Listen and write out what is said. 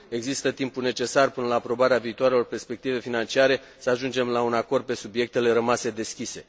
Există timpul necesar până la aprobarea viitoarelor perspective financiare să ajungem la un acord pe subiectele rămase deschise.